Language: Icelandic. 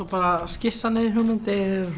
skissa niður hugmyndir